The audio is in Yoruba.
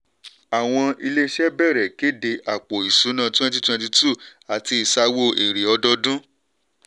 àwọn ilé-iṣẹ́ bẹ̀rẹ̀ kéde àpò ìṣúná twenty twenty-two àti ìsawó èrè ọdọọdún.